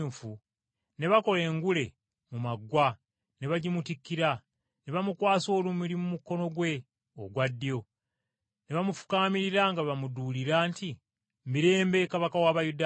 ne bakola engule mu maggwa ne bagimutikkira, ne bamukwasa olumuli mu mukono gwe ogwa ddyo. Ne bamufukaamirira nga bamuduulira nti, “Mirembe, Kabaka w’Abayudaaya!”